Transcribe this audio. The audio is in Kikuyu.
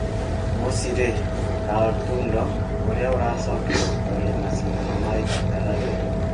Mũciĩ rĩ, Carl Tundo, ũrĩa ũracokire gũtooria macindano ma Equator Rally,